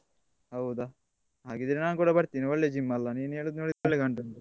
ಹೌದಾ ಹಾಗಿದ್ರೆ ನಾನ್ ಕೂಡ ಬರ್ತೇನೆ ಒಳ್ಳೆ gym ಅಲ್ಲ, ನೀನು ಹೇಳುದು ನೋಡಿದ್ರೆ ಒಳ್ಳೇದ್ ಕಾಣ್ತದೆ.